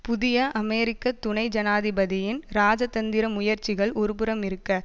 புதிய அமெரிக்க துணை ஜனாதிபதியின் இராஜதந்திர முயற்சிகள் ஒருபுறம் இருக்க